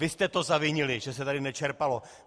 Vy jste to zavinili, že se tu nečerpalo.